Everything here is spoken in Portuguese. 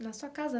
Na sua casa?